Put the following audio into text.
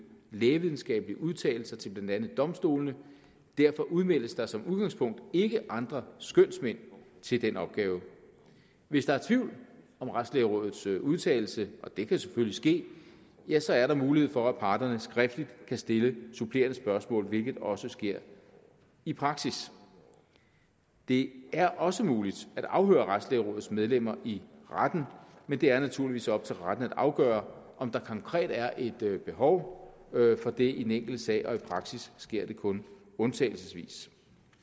lægevidenskabelige udtalelser til blandt andet domstolene derfor udmeldes der som udgangspunkt ikke andre skønsmænd til den opgave hvis der er tvivl om retslægerådets udtalelse og det kan selvfølgelig ske ja så er der mulighed for at parterne skriftligt kan stille supplerende spørgsmål hvilket også sker i praksis det er også muligt at afhøre retsplejerådets medlemmer i retten men det er naturligvis op til retten at afgøre om der konkret er et behov for det i den enkelte sag og i praksis sker det kun undtagelsesvis